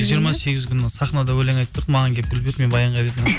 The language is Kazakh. жиырма сегізі күні сахнада өлең айтып тұрып маған келіп гүл берді мен баянға бердім